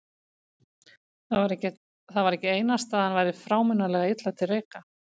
Það var ekki einasta að hann væri frámunalega illa til reika.